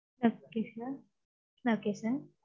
okay sir okay sir